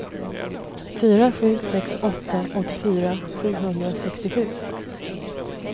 fyra sju sex åtta åttiofyra sjuhundrasextiosju